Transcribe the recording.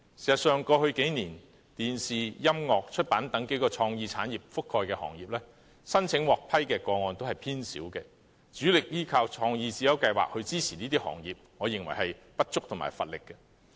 事實上，過去數年，電視、音樂和出版等數個創意產業覆蓋的行業，申請獲批的個案都偏少，主力依靠創意智優計劃來支持這些行業，我認為既不足也乏力。